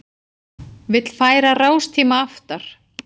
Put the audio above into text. Vill færa rástíma aftar